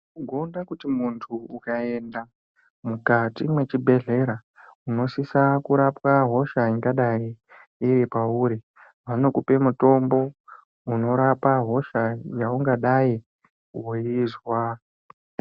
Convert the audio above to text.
Kuona kuti munthu ukaenda mukati mwechibhedhlera unosisa kurapwq hosha ingadai iri pauri vanokupe mutombo unorapa hosha yaungadai weizwa.